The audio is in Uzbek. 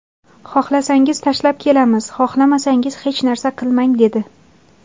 Xohlasangiz tashlab kelamiz, xohlamasangiz hech narsa qilmang, dedi.